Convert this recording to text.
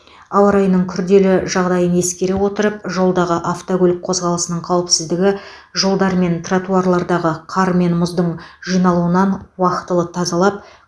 ауа райының күрделі жағдайын ескере отырып жолдағы автокөлік қозғалысының қауіпсіздігі жолдар мен тротуарларды қар мен мұздың жиналуынан уақытылы тазалап